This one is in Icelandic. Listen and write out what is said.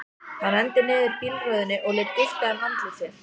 Hann renndi niður bílrúðunni og lét gusta um andlit sér.